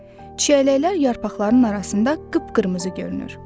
Çiyələklər yarpaqların arasında qıp-qırmızı görünür.